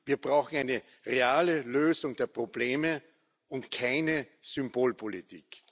Wir brauchen eine reale Lösung der Probleme und keine Symbolpolitik.